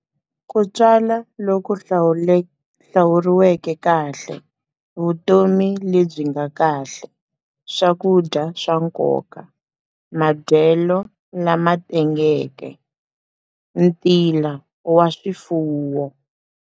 Ku twala loku hlawuriweke kahle, vutomi lebyi nga kahle, swakudya swa nkoka, madyelo lama tengeke, ntila wa swifuwo.